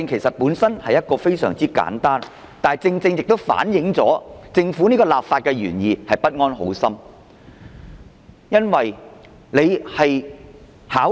我的修正案雖然非常簡單，但正正亦反映了政府的立法原意不安好心。